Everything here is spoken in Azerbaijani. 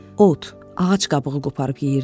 Ot, ağac qabığı qoparıb yeyirdilər.